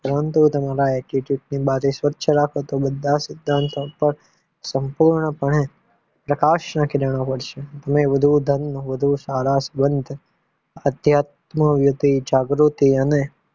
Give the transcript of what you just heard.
પરંતુ તમારા attitude ની બારી સ્વચ્છ રાખો તો બધા સિદ્ધાંતો પર સંપૂર્ણપણે પ્રકાશના કિરણો પડશે તમે વધુ ધન વધુ સારા સંબંધ અધ્યાત્મક જાગૃતી અને